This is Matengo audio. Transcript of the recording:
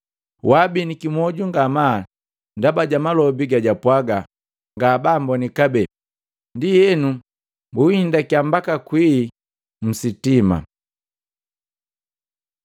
Babiniki mwoju ngamaa ndaba ja malobi gajapwaga ngabamboni kabee. Ndienu bunhindakiya mbaka kwii sitima.